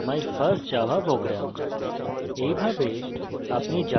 আমরা আমাদের output দেখি my first java program!